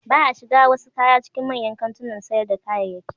Ba a shiga a wasu kaya cikin manyan kantunan sayar da kayayyaki.